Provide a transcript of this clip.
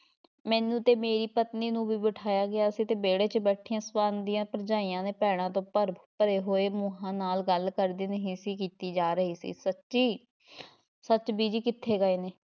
ਮੈਨੂੰ ਤੇ ਮੇਰੀ ਪਤਨੀ ਨੂੰ ਵੀ ਬਿਠਾਇਆ ਗਿਆ ਸੀ ਤੇ ਵਿਹੜੇ ‘ਚ ਬੈਠੀਆਂ ਸਵਰਨ ਦੀਆਂ ਭਰਜਾਈਆਂ ਤੇ ਭੈਣਾਂ ਤੋਂ ਭਰ ਭਰੇ ਹੋਏ ਮੂੰਹਾਂ ਨਾਲ਼ ਗੱਲ ਕਰਦੀ ਨਹੀਂ ਸੀ ਕੀਤੀ ਜਾ ਰਹੀ ਸੀ ਸੱਚੀ ਸੱਚ ਬੀਜੀ ਕਿੱਥੇ ਗਏ ਨੇ?